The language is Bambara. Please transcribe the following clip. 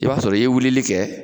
I b'a sɔrɔ i ye wulili kɛ